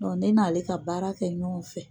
Don ne n'ale ka baara kɛ ɲɔgɔn fɛ.